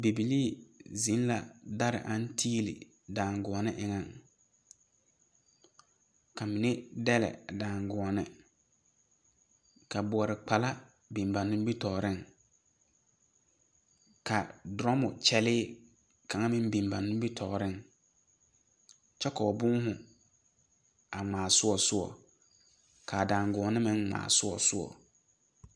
Bibilii zeŋe la dare a tiili daŋgoͻne eŋԑŋ. Ka mine dԑle a daŋgoͻne. ka boͻre kpala biŋ ba nimitͻͻreŋ. Ka doramo kyԑlee kaŋa meŋ biŋ ba nimitͻͻreŋ kyԑ ka ba boohoo a ŋmaa soͻ soͻ, kaa daŋgoͻne meŋ ŋmaa soͻ soͻ.